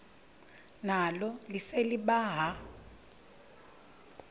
nalo lise libaha